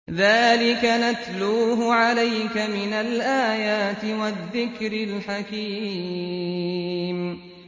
ذَٰلِكَ نَتْلُوهُ عَلَيْكَ مِنَ الْآيَاتِ وَالذِّكْرِ الْحَكِيمِ